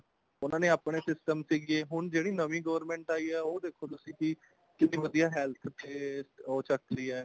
ਉਹਨਾ ਦੇ ਆਪਣੇ system ਸੀਗੇ ਹੁਣ ਜਿਹੜੀ ਨਵੀਂ government ਆਈ ਹੈ ਉਹ ਦੇਖੋ ਤੁਸੀਂ ਵੀ ਕਿੰਨੀ ਵਧੀਆ health ਤੇ ਉਹ ਚੱਕਦੀ ਹੈ